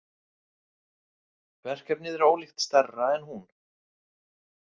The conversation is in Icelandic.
Verkefnið er ólíkt stærra en hún.